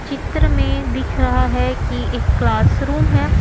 चित्र में दिख रहा है कि एक क्लासरूम है।